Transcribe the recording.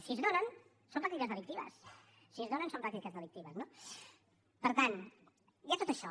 si es donen són pràctiques delictives si es donen són pràctiques delictives no per tant hi ha tot això